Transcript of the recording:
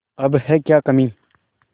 अब है क्या कमीं